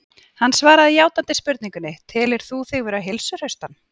Hann svaraði játandi spurningunni: Telur þú þig nú vera heilsuhraustan?